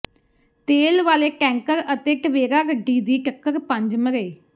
ਤੇਲ ਵਾਲੇ ਟੈਂਕਰ ਅਤੇ ਟਵੇਰਾ ਗੱਡੀ ਦੀ ਟੱਕਰ ਪੰਜ ਮਰੇ